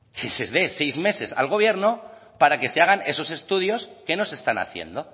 que se den seis meses al gobierno para que se hagan esos estudios que no se están haciendo